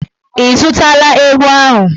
Ị zụtala ewu ahụ?